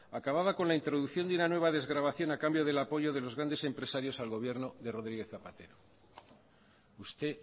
acababa con la introducción de una nueva desgravación a cambio del apoyo de los grandes empresarios al gobierno de rodríguez zapatero usted